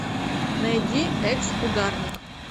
найди экс ударник